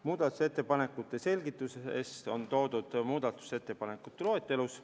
Muudatusettepanekute selgitused on toodud muudatusettepanekute loetelus.